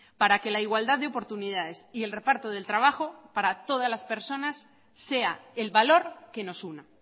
para que la igualdad de oportunidades y el reparto del trabajo para todas las personas sea el valor que nos una